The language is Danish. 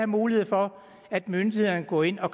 mulighed for at myndighederne kan gå ind og